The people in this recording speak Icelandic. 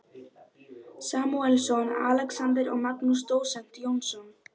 Samúelsson, Alexander og Magnús dósent Jónsson.